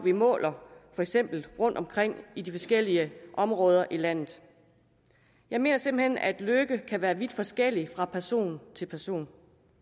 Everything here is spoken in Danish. måler rundtomkring i de forskellige områder af landet jeg mener simpelt hen at lykke kan være vidt forskellig fra person til person